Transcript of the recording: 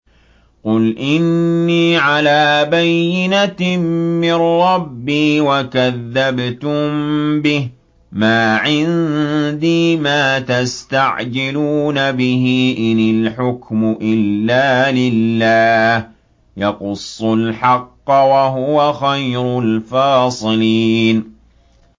قُلْ إِنِّي عَلَىٰ بَيِّنَةٍ مِّن رَّبِّي وَكَذَّبْتُم بِهِ ۚ مَا عِندِي مَا تَسْتَعْجِلُونَ بِهِ ۚ إِنِ الْحُكْمُ إِلَّا لِلَّهِ ۖ يَقُصُّ الْحَقَّ ۖ وَهُوَ خَيْرُ الْفَاصِلِينَ